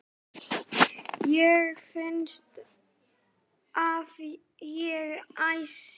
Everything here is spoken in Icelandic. Mér finnst að ég, Ási